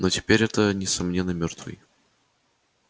но теперь это несомненно мёртвый